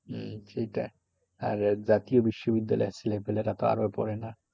হম সেইটা আর জাতীয় বিশ্ববিদ্যালয়ের ছেলেপিলেরা তো আরও পরে না।